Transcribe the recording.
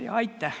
Aitäh!